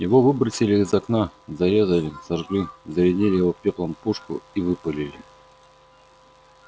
его выбросили из окна зарезали сожгли зарядили его пеплом пушку и выпалили